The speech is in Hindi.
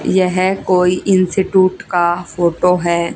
यह कोई इंस्टिट्यूट का फोटो है।